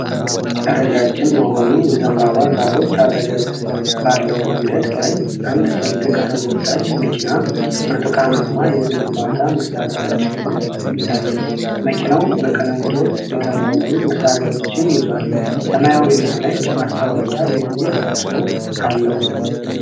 ረጃጅም በሆኑ የዘንባባ ዛፎች አጠገብ ባለው መንገድ ላይ አንድ ትልቅ ተጎታች መኪና ብርቱካንማ የግንባታ መሣሪያ ጭኖ ይታያል። መኪናው በቅንጦት የተሞሉ መሣሪያዎችን ይዟል፤ ሰማያዊና ነጭ ማስታወቂያ የሚል ጽሑፍ አለው።